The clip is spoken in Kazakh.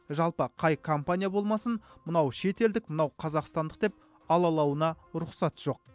жалпы қай компания болмасын мынау шетелдік мынау қазақстандық деп алалауына рұқсат жоқ